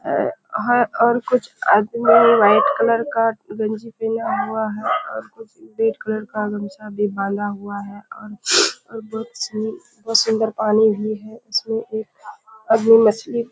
आ आ और कुछ आदमी वाइट कलर का गंजी पहना हुआ है और रेड कलर का गमछा भी बाँदा हुआ है और बहुत सूंदर पानी भी है और मछली